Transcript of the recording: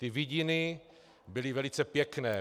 Ty vidiny byly velice pěkné.